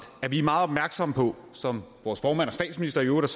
at vi er meget opmærksomme på som vores formand og statsminister i øvrigt